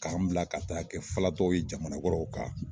K'an bila ka taa kɛ falatɔw ye jamana wɛrɛw kan